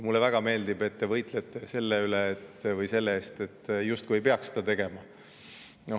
Mulle väga meeldib, et te võitlete selle eest, justkui ei peaks seda tegema.